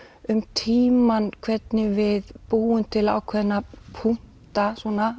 um tímann hvernig við búum til ákveðna punkta